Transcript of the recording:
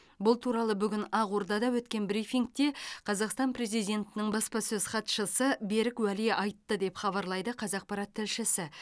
бұл туралы бүгін ақордада өткен брифингте қазақстан президентінің баспасөз хатшысы берік уәли айтты деп хабарлайды қазақпарат тілшісі